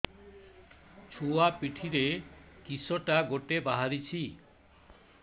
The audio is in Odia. ଛୁଆ ପିଠିରେ କିଶଟା ଗୋଟେ ବାହାରିଛି